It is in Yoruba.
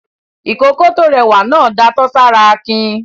Ìkókó tó rẹwà náà datọ́ sára Akin.